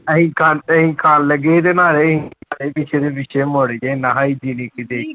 ਅਸੀਂ ਖਾਣ, ਅਸੀਂ ਖਾਣ ਲੱਗੇ ਸੀ ਤੇ ਨਾਲੇ ਪਿੱਛੇ ਮੁੜ ਕੇ ਨਾਲ ਹੀ